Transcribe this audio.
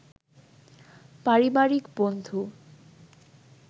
পারিবারিক বন্ধু